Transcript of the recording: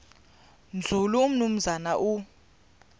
nzulu umnumzana u